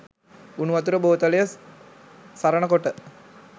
උණුවතුර බෝතලය සරනකොට